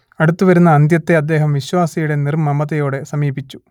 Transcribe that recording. അടുത്തുവരുന്ന അന്ത്യത്തെ അദ്ദേഹം വിശ്വാസിയുടെ നിർമ്മമതയോടെ സമീപിച്ചു